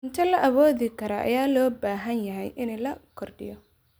Cuntada la awoodi karo ayaa loo baahan yahay in la kordhiyo.